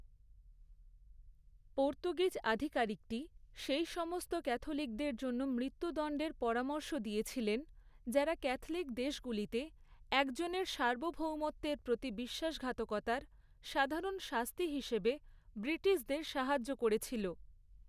Portuguese আধিকারিকটি, সেই সমস্ত ক্যাথলিকদের জন্য, মৃত্যুদণ্ডের পরামর্শ দিয়েছিলেন, যারা ক্যাথলিক দেশগুলিতে একজনের সার্বভৌমত্বের প্রতি বিশ্বাসঘাতকতার, সাধারণ শাস্তি হিসেবে ব্রিটিশদের সাহায্য করেছিল।